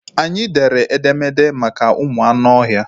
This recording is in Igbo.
Anyị dere edemede maka ụmụ anụ ọhịa.